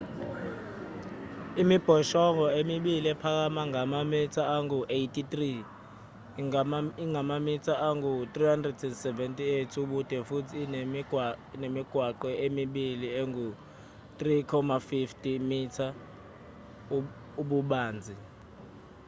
imibhoshongo emibili iphakama ngamamitha angu-83 ingamamitha angu-378 ubude futhi inemigwaqo emibili engu-3.50 m ububanzi